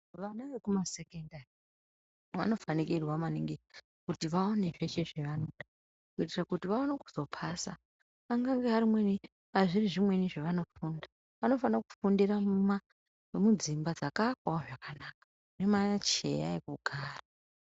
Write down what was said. Vana vekumasekendari vanofanikirwa maningi kutire kuti vaone zveshe zvavanoda kuti vaone kuzopasa angange arimune kana zviri zvimweni zvaanofunda anofanira kundira muma mudzimba dzakaakwawo zvakanaka mune macheya ekugara.